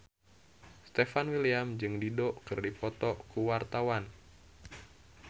Stefan William jeung Dido keur dipoto ku wartawan